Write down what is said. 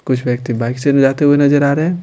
कुछ व्यक्ति बाइक से भी जाते हुए नजर आ रहे हैं।